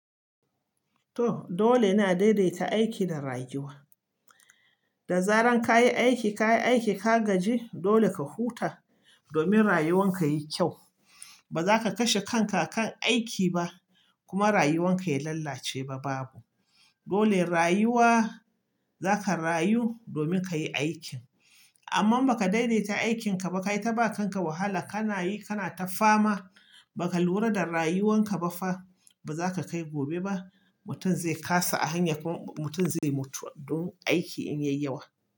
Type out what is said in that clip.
To dole ina daidaita aiki da rayuwa. Da zarar ka yi aiki ka gaji dole ka huta domin rayuwar ka yayi kyau. Ba za ka kashe kanka kan aiki ba kuma rayuwan ka ya lalace. Dole rayuwa zaka rayu domin ka yi aikin. Amma ba ka daidaita aikin ka ba ka yi ta ba kanka wahala ka nayi kana ta fama ba ka lura da rayuwar ka ba fa ba za ka kai gobe ba. Mutum zai kasa a hanya ko mutum zai mutu don aiki in ya yi yawa.